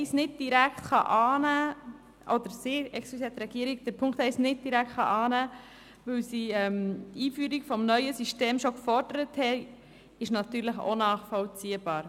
Dass die Regierung Punkt 1 nicht direkt annehmen kann, weil sie die Einführung des neuen Systems schon gefordert hat, ist natürlich auch nachvollziehbar.